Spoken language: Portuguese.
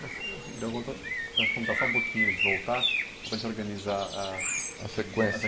Deu conta, vamos contar só um pouquinho de voltar, para a gente organizar a a sequência.